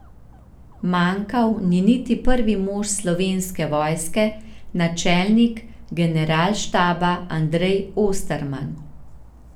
Manjkal ni niti prvi mož Slovenske vojske, načelnik Generalštaba Andrej Osterman.